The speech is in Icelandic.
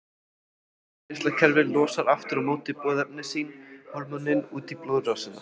Innkirtlakerfið losar aftur á móti boðefni sín, hormónin, út í blóðrásina.